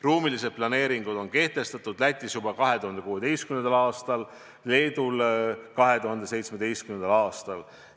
Ruumilised planeeringud on kehtestatud Lätis juba 2016. aastal, Leedus 2017. aastal.